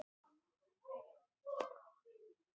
sagði hann ögn beisklega, í þessu húsi